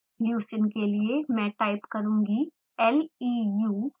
leucine के लिए मैं टाइप करुँगी leu